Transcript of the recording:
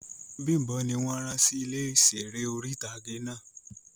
Bimbo ni won ran si ile iṣere ori-itage náa